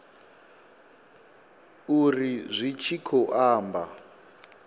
uri zwi tshi khou amba